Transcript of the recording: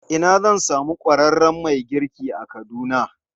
A ina zan samu ƙwararren mai girki a Kaduna?